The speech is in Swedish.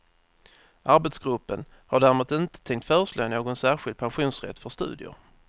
Arbetsgruppen har däremot inte tänkt föreslå någon särskild pensionsrätt för studier.